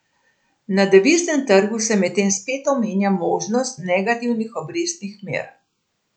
Na deviznem trgu se medtem spet omenja možnost negativnih obrestnih mer.